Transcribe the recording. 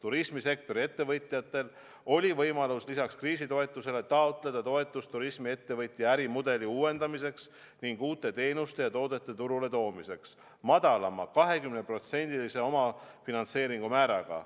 Turismisektori ettevõtjatel oli võimalus lisaks kriisitoetusele taotleda toetust turismiettevõtja ärimudeli uuendamiseks ning uute teenuste ja toodete turule toomiseks madalama, 20% omafinantseeringu määraga.